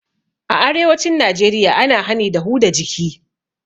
A arewacin najeriya ana hani da huda jiki